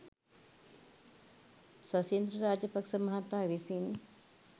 ශෂීන්ද්‍ර රාජපක්‍ෂ මහතා විසින්